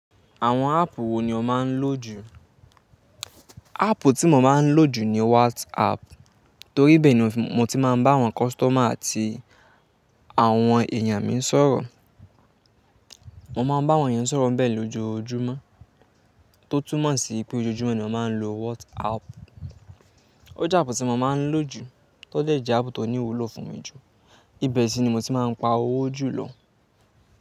Àwọn áàpù wo ni o máa ń lò jù? Áàpù tí mo máa ń lò jù ni WhatsApp, torí bẹ́ẹ̀ ni mo ti máa ń bá àwọn customer àti àwọn èèyàn mi sọ̀rọ̀. Mo máa ń bá àwọn ènìyàn sọ̀rọ̀ bẹ́ẹ̀ lójoojúmọ́, tó túmọ̀ sí pé ojoojúmọ́ ni a máa ń lo WhatsApp. Ó jẹ́ áàpù tí mo máa ń lò jù, tó dẹ̀ jẹ́ ààpù tó ní wúlò fún mi jù. Íbẹ̀ sì ni mo ti máa ń pa owó jù lọ.